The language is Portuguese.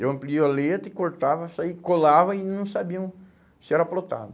Eu amplio a letra e cortava isso aí, colava e não sabiam se era plotado.